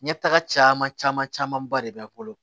Ɲɛtaga caman camanba de b'a bolo